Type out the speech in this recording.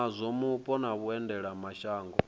wa zwa mupo na vhuendelamshango